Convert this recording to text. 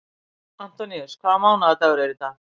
Antoníus, hvaða mánaðardagur er í dag?